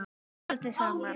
Við sváfum aldrei saman.